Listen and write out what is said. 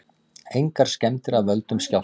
Engar skemmdir af völdum skjálfta